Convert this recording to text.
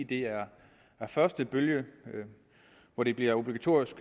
det er første bølge hvor det bliver obligatorisk